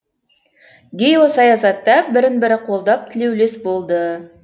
геосаясатта бірін бірі қолдап тілеулес болды